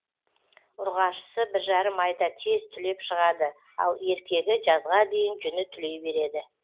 ұрғашысы бір жарым айда тез түлеп шығады ал еркегі жазға дейін жүні түлей береді